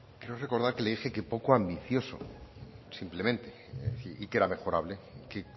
creo recordar que le dije poco ambicioso simplemente y que era mejorable que